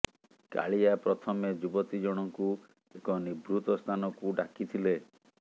କାଳିଆ ପ୍ରଥମେ ଯୁବତୀ ଜଣଙ୍କୁ ଏକ ନିଭୃତ ସ୍ଥାନକୁ ଡ଼ାକିଥିଲେ